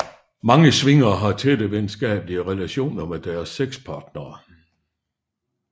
Mange swingere har tætte venskabelige relationer med deres sexpartnere